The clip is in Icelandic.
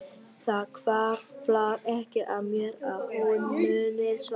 Það hvarflar ekki að mér að hún muni svara.